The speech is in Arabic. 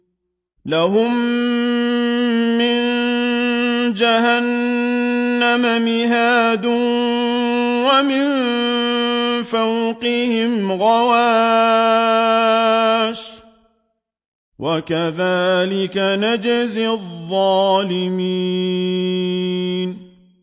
لَهُم مِّن جَهَنَّمَ مِهَادٌ وَمِن فَوْقِهِمْ غَوَاشٍ ۚ وَكَذَٰلِكَ نَجْزِي الظَّالِمِينَ